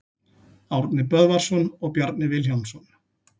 Árni Böðvarsson og Bjarni Vilhjálmsson.